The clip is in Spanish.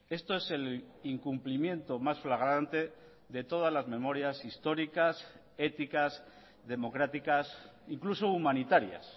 esto es el incumplimiento más flagrante de todas las memorias históricas éticas democráticas incluso humanitarias